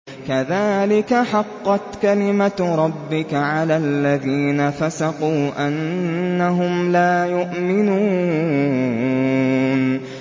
كَذَٰلِكَ حَقَّتْ كَلِمَتُ رَبِّكَ عَلَى الَّذِينَ فَسَقُوا أَنَّهُمْ لَا يُؤْمِنُونَ